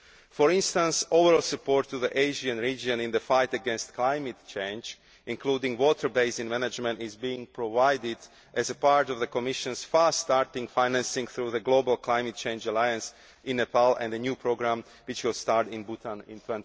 For instance, overall support for the Asian region in the fight against climate change, including water basin management, is being provided as part of the Commission's fast starting financing through the Global Climate Change Alliance in Nepal and the new programme which will start in Bhutan in